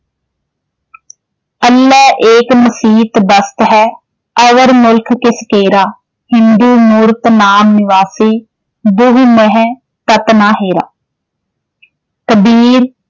ਅਲਹੁ ਏਕੁ ਮਸੀਤਿ ਬਸਤੁ ਹੈ ਅਵਰੁ ਮੁਲਖੁ ਕਿਸੁ ਕੇਰਾ ਹਿੰਦੂ ਮੂਰਤਿ ਨਾਮ ਨਿਵਾਸੀ ਦੁਹ ਮਹਿ ਤਤੁ ਨ ਹੇਰਾ ਕਬੀਰ।